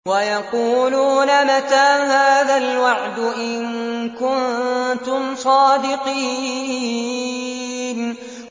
وَيَقُولُونَ مَتَىٰ هَٰذَا الْوَعْدُ إِن كُنتُمْ صَادِقِينَ